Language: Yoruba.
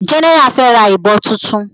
General fe rà ìbọn títún.